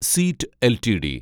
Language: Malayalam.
seat LTD